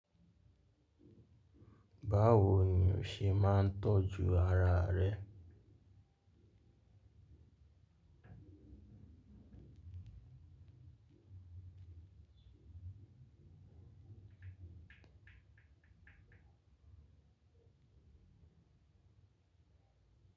Báwo ni o ṣe máa ń tọ́jú ara rẹ.